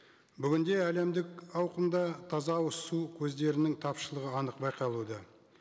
бүгінде әлемдік ауқымда таза ауыз суы көздерінің тапшылығы анық байқалуда